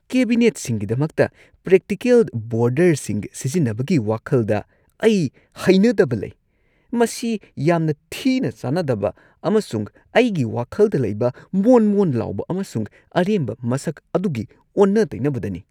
ꯀꯦꯕꯤꯅꯦꯠꯁꯤꯡꯒꯤꯗꯃꯛꯇ practical ꯕꯣꯔꯗꯔꯁꯤꯡ ꯁꯤꯖꯤꯟꯅꯕꯒꯤ ꯋꯥꯈꯜꯗ ꯑꯩ ꯍꯩꯅꯗꯕ ꯂꯩ꯫ ꯃꯁꯤ ꯌꯥꯝꯅ ꯊꯤꯅ ꯆꯥꯅꯗꯕ ꯑꯃꯁꯨꯡ ꯑꯩꯒꯤ ꯋꯥꯈꯜꯗ ꯂꯩꯕ ꯃꯣꯟ ꯃꯣꯟ ꯂꯥꯎꯕ ꯑꯃꯁꯨꯡ ꯑꯔꯦꯝꯕ ꯃꯁꯛ ꯑꯗꯨꯒꯤ ꯑꯣꯟꯅ ꯇꯩꯅꯕꯗꯅꯤ꯫